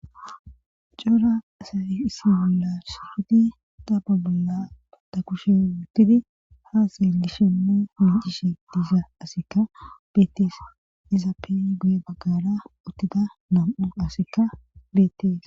cora asayi issi bola shusudi tapa bolla ta kushe wuttidi haa seelishenne miicishe diiza asikka betees izappey guye baggara uttida nam7u asikka beetees